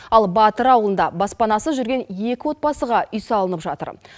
ал батыр ауылында баспанасыз жүрген екі отбасыға үй салынып жатыр